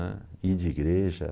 né. I de igreja